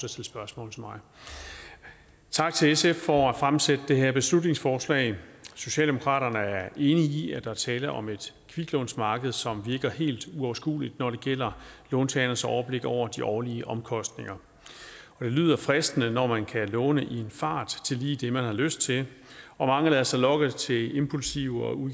at stille spørgsmål til mig tak til sf for at fremsætte det her beslutningsforslag socialdemokraterne er enige i at der er tale om et kviklånsmarked som virker helt uoverskueligt når det gælder låntagernes overblik over de årlige omkostninger det lyder fristende når man kan låne i en fart til lige det man har lyst til og mange lader sig lokke til impulsive og